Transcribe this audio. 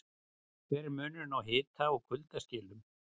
Hver er munurinn á hita- og kuldaskilum?